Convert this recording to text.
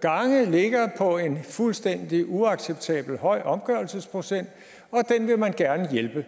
gange ligger på en fuldstændig uacceptabelt høj omgørelsesprocent og den vil man gerne hjælpe